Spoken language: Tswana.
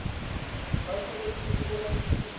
ba tshwanetse go romela boiteko